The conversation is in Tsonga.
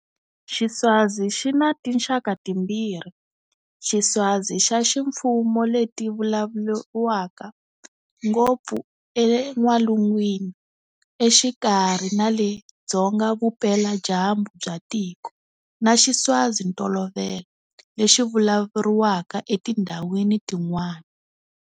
Xiswazi xi na tinxaka timbirhi-Xiswazi xa ximfumo leti vulavuriwaka ngopfu en'walungwini, exikarhi na le dzonga-vupela-dyambu bya tiko, na Xiswazintolovelo lexi vulavuriwaka etindhawini tin'wana.